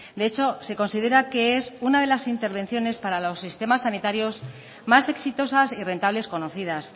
de hecho se considera que es una de las intervenciones para los sistemas sanitarios más exitosas y rentables conocidas